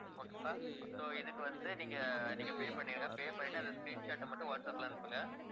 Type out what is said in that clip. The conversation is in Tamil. okay வா so இதுக்கு வந்து நீங்க, நீங்க pay பண்ணிடுங்க. pay பண்ணிட்டு அந்த screenshot அ மட்டும் வாட்ஸ்அப்ல அனுப்புங்க.